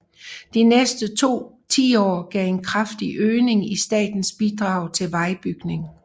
De næste to tiår gav en kraftig øgning i statens bidrag til vejbygning